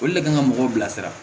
Olu le kan ka mɔgɔw bila sira